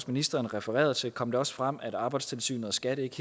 ministeren refererede til kom det også frem at arbejdstilsynet og skat ikke